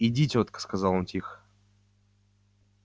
иди тётка сказал он тихо